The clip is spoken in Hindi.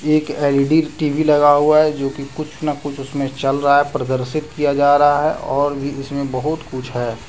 एक एल_ई_डी टी_वी लगा हुआ है जो कि कुछ ना कुछ उसमें चल रहा है प्रदर्शित किया जा रहा है और भी इसमें बहुत कुछ है।